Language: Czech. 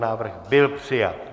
Návrh byl přijat.